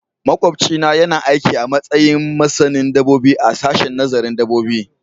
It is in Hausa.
Makwabcina yana aiki a matsayin masanin dabbobi a sashen nazarin dabbobi